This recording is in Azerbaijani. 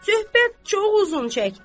Söhbət çox uzun çəkdi.